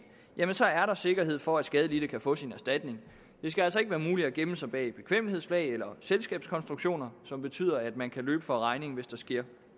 er sikkerhed for at skadelidte kan få sin erstatning det skal altså ikke være muligt at gemme sig bag et bekvemmelighedsflag eller selskabskonstruktioner som betyder at man kan løbe fra regningen hvis der sker